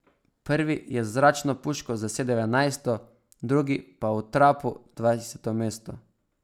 Prvi je z zračno puško zasedel enajsto, drugi pa v trapu dvajseto mesto.